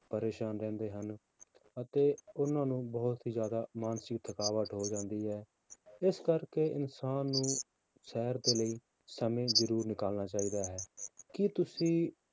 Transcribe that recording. ਪਰੇਸਾਨ ਰਹਿੰਦੇ ਹਨ ਅਤੇ ਉਹਨਾਂ ਨੂੰ ਬਹੁਤ ਹੀ ਜ਼ਿਆਦਾ ਮਾਨਸਿਕ ਥਕਾਵਟ ਹੋ ਜਾਂਦੀ ਹੈ ਇਸ ਕਰਕੇ ਇਨਸਾਨ ਨੂੰ ਸੈਰ ਦੇ ਲਈ ਸਮੇਂ ਜ਼ਰੂਰ ਨਿਕਾਲਣਾ ਚਾਹੀਦਾ ਹੈ, ਕੀ ਤੁਸੀਂ